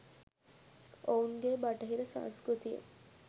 ඔවූන් ගේ බටහිර සංස්කෘතිය